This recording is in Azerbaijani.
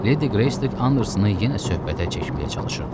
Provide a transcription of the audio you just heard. Ledi Greys Andersonu yenə söhbətə çəkməyə çalışırdı.